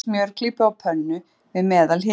Hitið smjörklípu á pönnu, við meðalhita.